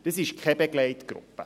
Das ist keine Begleitgruppe.